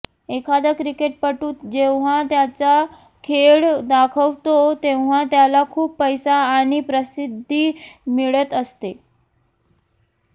एखादा क्रिकेटपटू जेव्हा त्याचा खेळ दाखवतो तेव्हा त्याला खूप पैसा आणि प्रसिद्धी मिळत असते